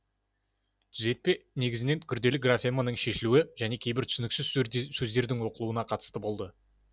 түзетпе негізінен күрделі графеманың шешілуі және кейбір түсініксіз сөздердің оқылуына қатысты болды